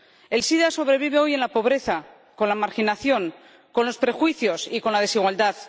El sida sobrevive hoy en la pobreza, con la marginación, con los prejuicios y con la desigualdad.